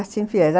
Assim fies.